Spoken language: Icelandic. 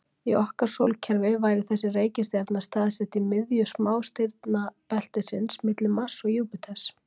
Í okkar sólkerfi væri þessi reikistjarna staðsett í miðju smástirnabeltisins, milli Mars og Júpíters.